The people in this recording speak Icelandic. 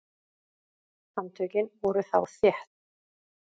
Handtökin voru þá þétt.